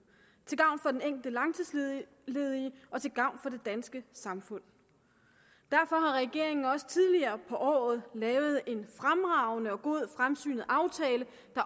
til gavn for den enkelte langtidsledige og til gavn for det danske samfund derfor har regeringen også tidligere på året lavet en fremragende og god fremsynet aftale